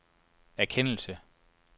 erkendelse